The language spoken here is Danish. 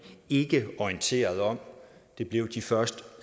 ikke orienteret om det blev de først